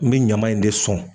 N me ɲaman in de sɔn